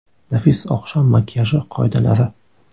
Nafis oqshom makiyaji qoidalari.